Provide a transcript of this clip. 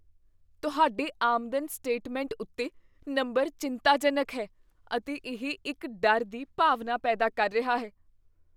ਤੁਹਾਡੇ ਆਮਦਨ ਸਟੇਟਮੈਂਟ ਉੱਤੇ ਨੰਬਰ ਚਿੰਤਾਜਨਕ ਹੈ, ਅਤੇ ਇਹ ਇੱਕ ਡਰ ਦੀ ਭਾਵਨਾ ਪੈਦਾ ਕਰ ਰਿਹਾ ਹੈ।